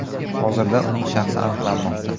Hozirda uning shaxsi aniqlanmoqda.